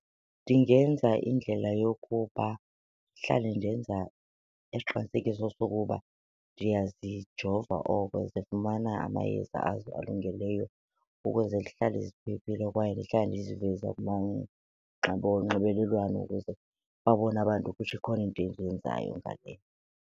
Ndingenza indlela yokuba ndihlale ndenza isiqinisekiso sokuba ndiyazijova oko zifumana amayeza azo alungeleyo ukuze zihlale ziphephile kwaye ndihlale ndiziveza onxibelelwano ukuze babone abantu ukuthi ikhona into endiyenzayo .